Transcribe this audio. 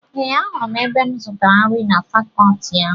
Ee, ahụrụ m ebe m zutara nri na fakọọti ahụ.